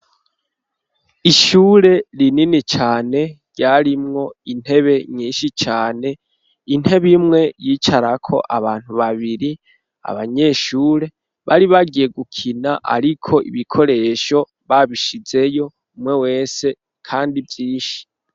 Ishure rinini cane ryarimwo intebe nyinshi cane intebe imwe yicarako abantu babiri abanyeshure bari bagiye gukina ariko ibikoresho babishizeyo umwe wese kandi vyinshi.